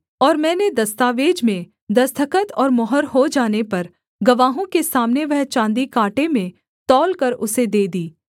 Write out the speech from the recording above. और मैंने दस्तावेज में दस्तखत और मुहर हो जाने पर गवाहों के सामने वह चाँदी काँटे में तौलकर उसे दे दी